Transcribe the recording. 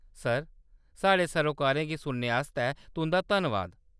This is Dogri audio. सर, साढ़े सरोकारें गी सुनने आस्तै तुं'दा धन्नवाद।